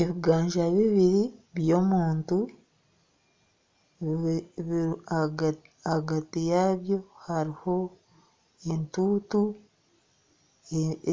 Ebiganza bibiri eby'omuntu ahagati yaabyo hariho entuuntu